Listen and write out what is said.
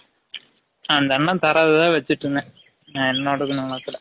அந்த அன்னன் தரது தான் வச்சிட்டு இருந்தேன் நா எனோடதுனு வலகல